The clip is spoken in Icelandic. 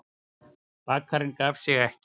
Bakarinn gaf sig ekki.